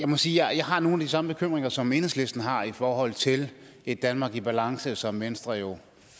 må sige at jeg har nogle samme bekymringer som enhedslisten har i forhold til et danmark i balance som venstre jo